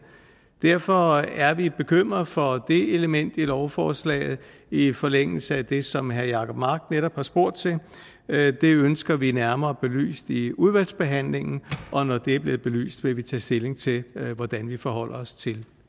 derfor er vi bekymrede for det element i lovforslaget i forlængelse af det som herre jacob mark netop har spurgt til det ønsker vi nærmere belyst i udvalgsbehandlingen og når det er blevet belyst vil vi tage stilling til hvordan vi forholder os til